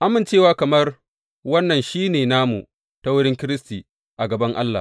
Amincewa kamar wannan shi ne namu ta wurin Kiristi a gaban Allah.